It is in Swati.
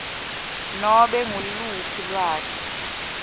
nobe nguluphi lwati